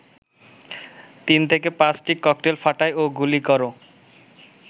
৩-৫টি cocktail ফাটায় ও গুলি কর